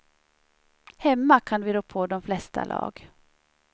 Hemma kan vi rå på de flesta lag.